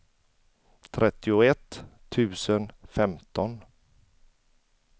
trettioett tusen femton